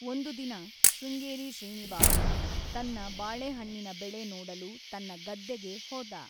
ಒಂದು ದಿನ, ಶೃಂಗೇರಿ ಶ್ರೀನಿವಾಸ ತನ್ನ ಬಾಳೆಹಣ್ಣಿನ ಬೆಳೆ ನೋಡಲು ತನ್ನ ಗದ್ದೆಗೆ ಹೋದ.